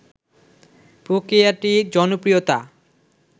প্রক্রিয়াটি জনপ্রিয়তা